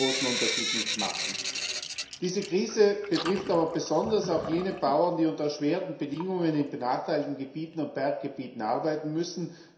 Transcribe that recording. Das wird nicht den großen Unterschied machen. Diese Krise betrifft aber besonders auch jene Bauern, die unter erschwerten Bedingungen in benachteiligten Gebieten und Berggebieten arbeiten müssen.